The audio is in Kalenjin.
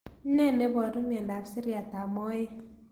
Ne niaparu miandop siriat ab moet